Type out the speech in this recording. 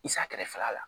I sa kɛrɛfɛla la